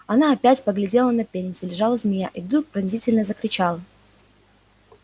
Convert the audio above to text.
она опять поглядела на пень где лежала змея и вдруг пронзительно закричал